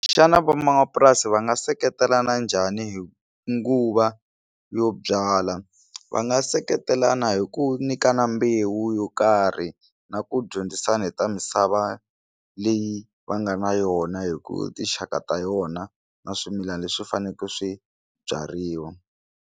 Xana van'wamapurasi va nga seketelana njhani hi nguva yo byala va nga seketelana hi ku nyikana mbewu yo karhi na ku dyondzisana hi ta misava leyi va nga na yona hi ku tinxaka ta yona na swimilana leswi faneleke swi byariwa.